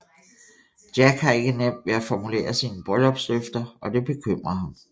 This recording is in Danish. Jack har ikke nemt ved at formulere sine bryllupsløfter og det bekymrer ham